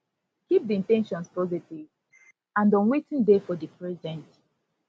keep di in ten tions positive and on wetin dey for di present